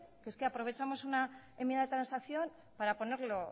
es que aprovechamos una enmienda de transacción para ponerlo